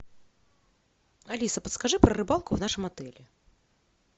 алиса подскажи про рыбалку в нашем отеле